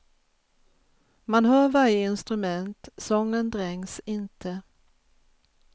Man hör varje instrument, sången dränks inte.